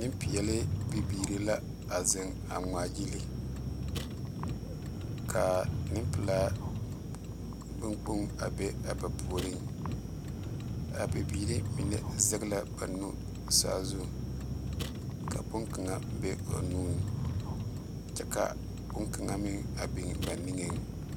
Mɛmeɛrebɛ la are are a yele yɛlɛ a kyaara ne ba zie ba naŋ meɛrɛ ka a tontoneba meŋ yɛ are are a zie ba mɛ l,a ziiri a pilli kyɛ maala sori kaŋ meŋ k,o na sigi a te ta a zie mɛbaaraa.